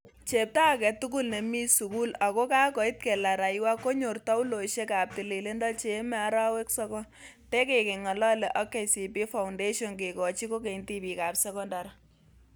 "Chepto age tugul nemi sugul ako kakoit kelaraiywa konyor tauloisiek ap tililindo cheeme arawek sogol.. tegeng'alali ak KCB Foundation kegoochi kogeny' tibiik ap sekondari.